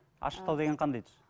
ашықтау деген қандай түс